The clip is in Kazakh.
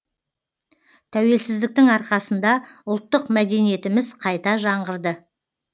тәуелсіздіктің арқасында ұлттық мәдениетіміз қайта жаңғырды